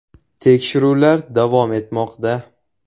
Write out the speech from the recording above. Tekshiruvlar davom etmoqda.